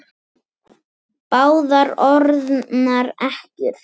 Báðar orðnar ekkjur.